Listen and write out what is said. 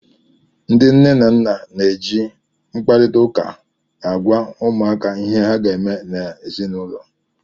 Ndị nne na nna na-ejikwa mkparịta ụka agwa ụmụaka ihe ha ga-eme n'ụlọ